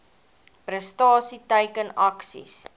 prestasie teiken aksies